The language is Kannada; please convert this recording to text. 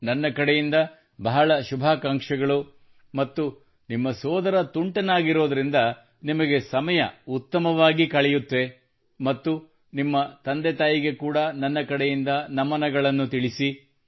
ನನ್ನ ಕಡೆಯಿಂದ ಬಹಳ ಶುಭಾಕಾಂಕ್ಷೆಗಳು ಮತ್ತು ನಿಮ್ಮ ಸೋದರ ತುಂಟನಾಗಿರುವುದರಿಂದ ನಿಮಗೆ ಸಮಯ ಉತ್ತಮವಾಗಿ ಕಳೆಯುತ್ತದೆ ಮತ್ತು ನಿಮ್ಮ ತಂದೆ ತಾಯಿಗೆ ಕೂಡಾ ನನ್ನ ಕಡೆಯಿಂದ ನಮನಗಳನ್ನು ತಿಳಿಸಿಬಿಡಿ